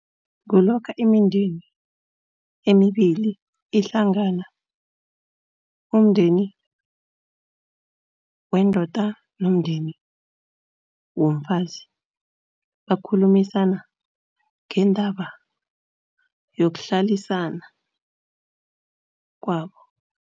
Kulokha imindeni emibili ihlangana, umndeni wendoda nomndeni womfazi. Bakhulumisana ngendaba yokuhlalisana kwabo.